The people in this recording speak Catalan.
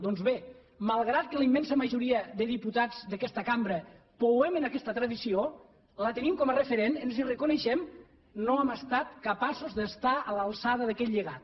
doncs bé malgrat que la immensa majoria de diputats d’aquesta cambra pouem en aquesta tradició la tenim com a referent ens hi reconeixem no hem estat capaços d’estar a l’alçada d’aquest llegat